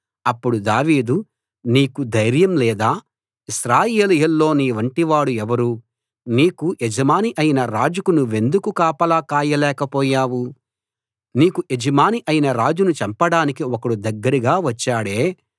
అప్పుడు దావీదు నీకు ధైర్యం లేదా ఇశ్రాయేలీయుల్లో నీలాంటి వాడు ఎవరు నీకు యజమాని అయిన రాజుకు నువ్వెందుకు కాపలా కాయలేకపోయావు నీకు యజమాని అయిన రాజును చంపడానికి ఒకడు దగ్గరగా వచ్చాడే